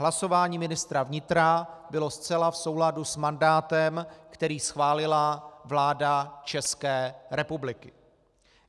Hlasování ministra vnitra bylo zcela v souladu s mandátem, který schválila vláda České republiky.